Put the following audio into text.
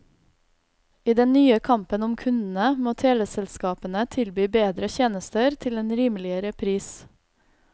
I den nye kampen om kundene må teleselskapene tilby bedre tjenester til en rimeligere pris.